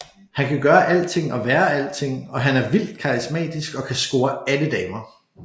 Han kan gøre alting og være alting og han er vildt karismatisk og kan score alle damer